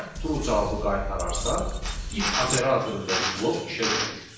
Şərt true cavabı qaytararsa, if operatorundakı blok işə düşür.